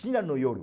China no Yoro.